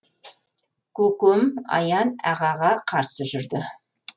көкем аян ағаға қарсы жүрді